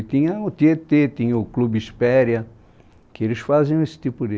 E tinha o Tietê, tinha o Clube Espéria, que eles faziam esse tipo de...